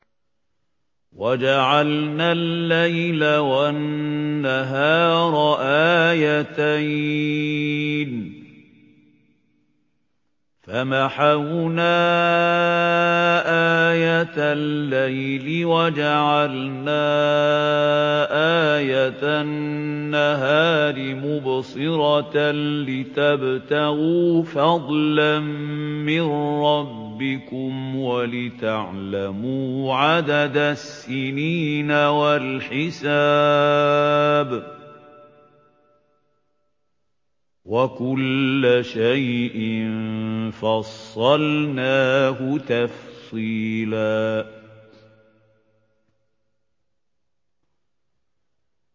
وَجَعَلْنَا اللَّيْلَ وَالنَّهَارَ آيَتَيْنِ ۖ فَمَحَوْنَا آيَةَ اللَّيْلِ وَجَعَلْنَا آيَةَ النَّهَارِ مُبْصِرَةً لِّتَبْتَغُوا فَضْلًا مِّن رَّبِّكُمْ وَلِتَعْلَمُوا عَدَدَ السِّنِينَ وَالْحِسَابَ ۚ وَكُلَّ شَيْءٍ فَصَّلْنَاهُ تَفْصِيلًا